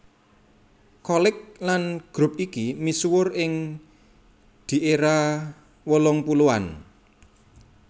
Cholik lan grup iki misuwur ing di era wolung puluhan